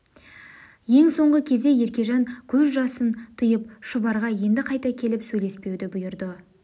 ең соңғы кезде еркежан көз жасын тыйып шұбарға енді қайта келіп сөйлеспеуді бұйырды